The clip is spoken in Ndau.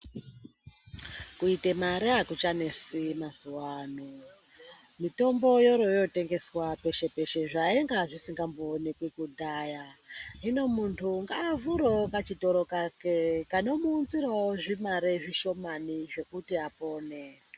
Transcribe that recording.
Kuite mare akuchanesi mazuwa ano. Mitombo yoroyoo tengeswa peshe-peshe, zvainga zvisingambooneki kudhaya. Hino munthu ngaavhurewo kachitoro kake kanomuunzirawo zvimare zvishomani zvekuti apone.